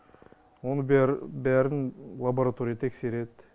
оны бәрі бәрін лаборатория тексереді